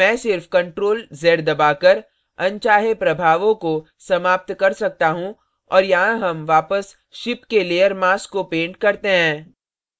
मैं सिर्फ ctrl + z दबाकर अनचाहे प्रभावों को समाप्त कर सकता हूँ और यहाँ हम वापस ship के layer mask को paint करते हैं